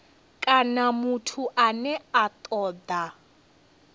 kana muthu ane a toda